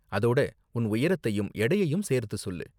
அதோட உன் உயரத்தையும் எடையையும் சேர்த்து சொல்லு.